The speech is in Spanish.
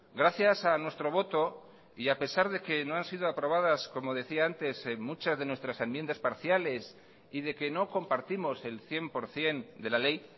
gracias a nuestro voto y a pesar de que no han sido aprobadas como decía antes muchas de nuestras enmiendas parciales y de que no compartimos el cien por ciento de la ley